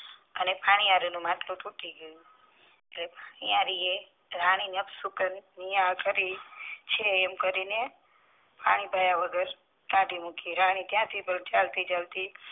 અને પાણી હરે નું માટલું તૂટી ગયું ત્યાં ન્યારી એ રાની ને અપશુકન છે એમ કરી ને પાણી પાયા વગર કાઢી મૂકી રાની ત્યાં થી પણ ચાલતી ચાલતી